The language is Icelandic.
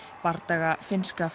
bardaga finnska